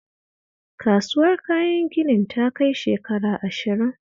Kasuwar kayan ginin ta kai shekara ashirin